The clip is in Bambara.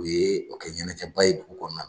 U ye o kɛ ɲɛnajɛba ye dugu kɔnɔna